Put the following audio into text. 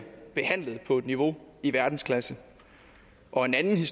behandlet på et niveau i verdensklasse og en anden